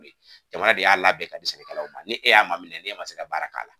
jamana de y'a labɛn ka di n'e y'a maminɛ n'e ma se ka baara k'a la.